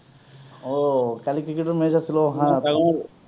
অ! কালি ক্ৰিকেটৰ match আছিল অ! হাঃ